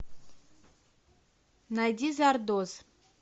найди зардоз